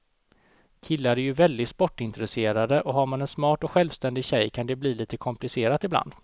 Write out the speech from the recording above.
Killar är ju väldigt sportintresserade, och har man en smart och självständig tjej kan det bli lite komplicerat ibland.